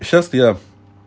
сейчас я